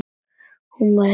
Hún varð hissa.